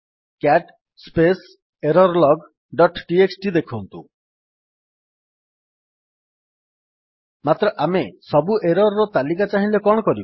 CAT space error log dot TXT ଦେଖନ୍ତୁ ମାତ୍ର ଆମେ ସବୁ ଏରର୍ ର ତାଲିକା ଚାହିଁଲେ କଣ କରିବା